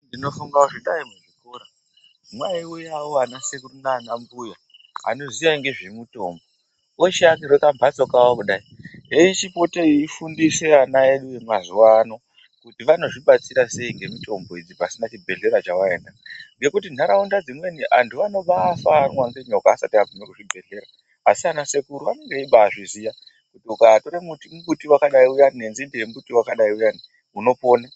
Ndinofunga kuti kudai muzvikora mwaiuyao anasekuru nanambuya anoziya ngezvemutombo, ochiakirwa kamhatso kawo kudai eichipota eifundise ana edu emazuwa ano kuti vanozvibatsira sei ngemutombo idzi pasina chibhedhlera chawaenda. Ngekuti nharaunda dzimweni antu vanobafa varumwa ngenyoka vasati vaguma kuzvibhendlera asi ana sekuru anenge eibazviziya kuti ukatora mumbuti wakadai uyani nenzinde yembuti wakadai uyani unopona.